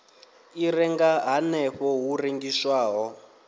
i renga hanefho hu rengiswaho